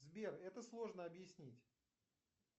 сбер это сложно объяснить